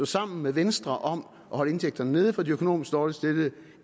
sammen med venstre om at holde indtægterne nede for de økonomisk dårligt stillede